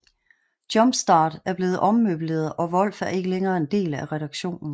Jumpstart er blevet ommøbleret og Wolf er ikke længere en del af redaktionen